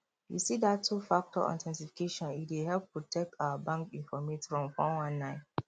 you see dat twofactor authentification e dey help protect our bank informate from four one nine